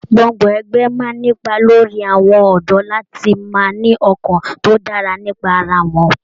Gbọ́ngbọ̀n ẹgbẹ máa n'ipa lórí àwọn ọdọ láti má ní ọkàn tó dára nípa ará wọn.